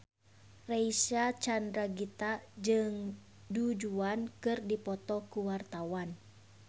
Reysa Chandragitta jeung Du Juan keur dipoto ku wartawan